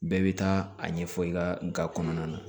Bɛɛ bɛ taa a ɲɛfɔ i ka kɔnɔna na